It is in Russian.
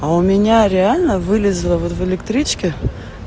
а у меня реально вылезла вот в электричке